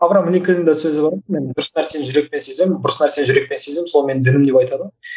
авраам лилькольннің де сөзі бар ғой мен дұрыс нәрсені жүрекпен сеземін бұрыс нәрсені жүрекпен сеземін сол менің дінім деп айтады ғой